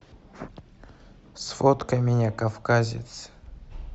сфоткай меня кавказец